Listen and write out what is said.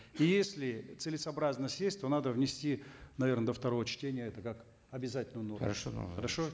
и если целесообразно сесть то надо внести наверно до второго чтения это как обязательную норму хорошо хорошо